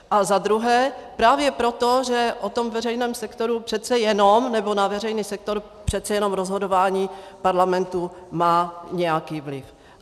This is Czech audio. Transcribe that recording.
A za druhé právě proto, že o tom veřejném sektoru přece jenom, nebo na veřejný sektor přece jenom rozhodování parlamentu má nějaký vliv.